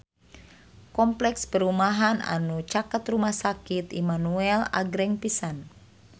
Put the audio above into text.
Kompleks perumahan anu caket Rumah Sakit Immanuel agreng pisan